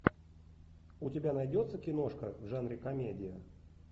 у тебя найдется киношка в жанре комедия